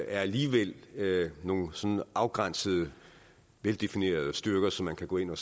alligevel nogle sådan afgrænsede og veldefinerede styrker som man kunne gå ind